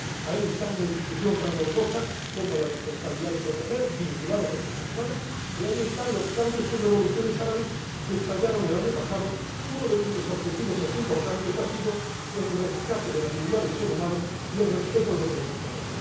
Ahí está una institución tan novedosa, con la responsabilidad de proteger, vinculada a los derechos humanos, y ahí están los cambios y revoluciones árabes que estallaron el año pasado, uno de cuyos objetivos más importantes ha sido el rescate de la dignidad del ser humano y el respeto de los derechos humanos.